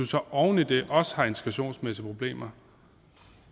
så oven i det også har integrationsmæssige problemer